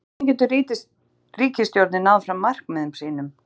En hvernig getur ríkisstjórnin náð fram markmiðum sínum?